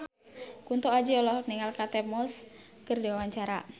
Kunto Aji olohok ningali Kate Moss keur diwawancara